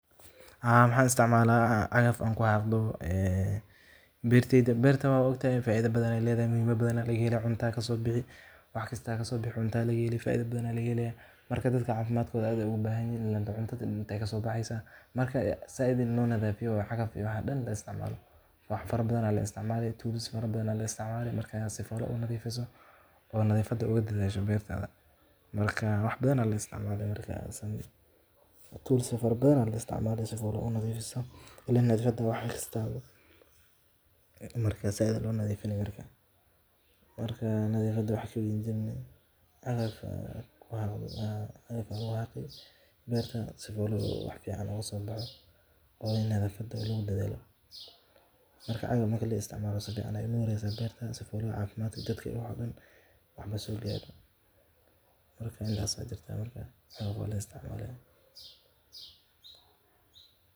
ma waxaad isticmaashaa cagaf aad ku xaaqdo beertaada